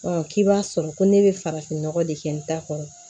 k'i b'a sɔrɔ ko ne bɛ farafinnɔgɔ de kɛ n ta kɔnɔ